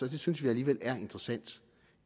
det synes vi alligevel er interessant